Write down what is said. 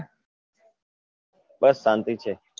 બસ શાંતિ છે